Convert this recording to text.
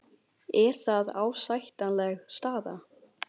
Er það ásættanleg staða?